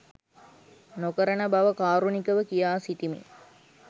නොකරන බව කාරුණිකව කියා සිටිමි.